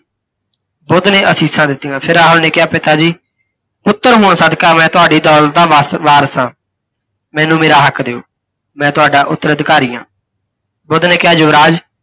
ਬੁੱਧ ਨੇ ਅਸੀਸਾਂ ਦਿੱਤੀਆਂ, ਫਿਰ ਰਾਹੁਲ ਨੇ ਕਿਹਾ, ਪਿਤਾ ਜੀ ਪੁੱਤਰ ਹੋਣ ਸਦਕਾ ਮੈਂ ਤੁਹਾਡੀ ਦੌਲਤ ਦਾ ਵਾ ਵਾਰਿਸ ਹਾਂ। ਮੈਨੂੰ ਮੇਰਾ ਹੱਕ ਦਿਓ, ਮੈਂ ਤੁਹਾਡਾ ਉਤੱਰਅਧੀਕਾਰੀ ਹਾਂ। ਬੁੱਧ ਨੇ ਕਿਹਾ, ਯੁਵਰਾਜ